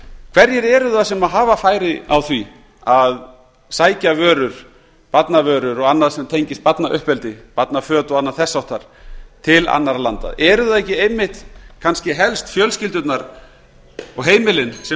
hverjir eru það sem hafa færi á því að sækja vörur barnavörur og annað sem tengist barnauppeldi barnaföt og annað þess háttar til annarra landa eru það ekki einmitt kannski helst fjölskyldurnar og heimilin sem